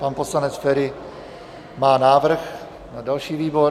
Pan poslanec Feri má návrh na další výbor.